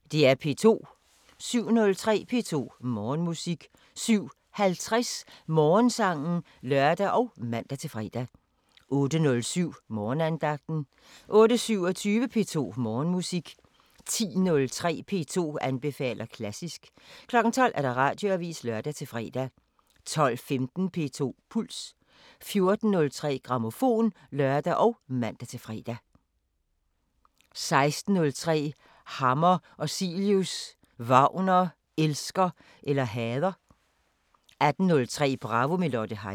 07:03: P2 Morgenmusik 07:50: Morgensangen (lør og man-fre) 08:07: Morgenandagten 08:27: P2 Morgenmusik 10:03: P2 anbefaler klassisk 12:00: Radioavisen (lør-fre) 12:15: P2 Puls 14:03: Grammofon (lør og man-fre) 16:03: Hammer og Cilius – Wagner – elsker eller hader? 18:03: Bravo – med Lotte Heise